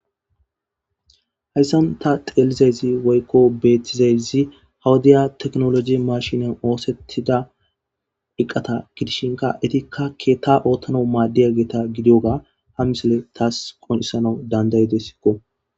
hayssan ta xeelizazi woykko beetizayzi hawudiya teknologi mashinan oosettida iqqata gidishinka etikka keetta oottano maaddiya geeta gidiyoga ha misole taas qonisana dandayede sikko